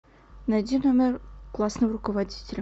найди номер классного руководителя